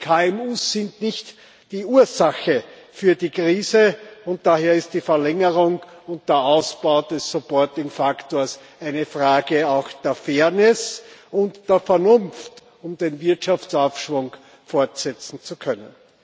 Die KMU sind nicht die Ursache für die Krise, und daher ist die Verlängerung und der Ausbau des supporting faktor eine Frage auch der Fairness und der Vernunft, um den Wirtschaftsaufschwung fortsetzen zu können.